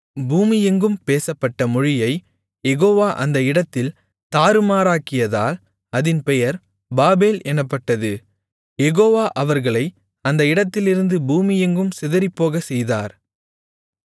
பூமியெங்கும் பேசப்பட்ட மொழியைக் யெகோவா அந்த இடத்தில் தாறுமாறாக்கியதால் அதின் பெயர் பாபேல் எனப்பட்டது யெகோவா அவர்களை அந்த இடத்திலிருந்து பூமியெங்கும் சிதறிப்போகச் செய்தார்